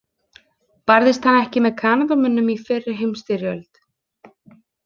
Barðist hann ekki með Kanadamönnum í fyrri heimsstyrjöld?